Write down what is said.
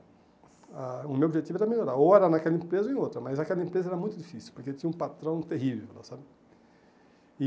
Ah O meu objetivo era melhorar, ou era naquela empresa ou em outra, mas aquela empresa era muito difícil, porque tinha um patrão terrível, sabe? E